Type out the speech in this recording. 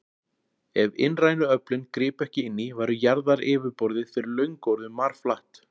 Ef innrænu öflin gripu ekki inn í, væri jarðaryfirborðið fyrir löngu orðið marflatt.